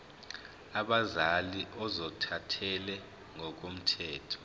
abazali ozothathele ngokomthetho